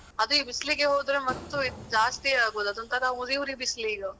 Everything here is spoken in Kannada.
ಅದು ಈ ಬಿಸ್ಲಿಗೆ ಹೋದ್ರೆ ಮತ್ತೂ ಜಾಸ್ತಿ ಆಗುದು. ಅದು ಒಂತರ ಉರಿ ಉರಿ ಬಿಸ್ಲಿಗಾ.